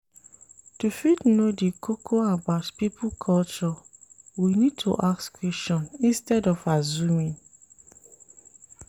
To fit know di koko about pipo culture we need to ask question instead of assuming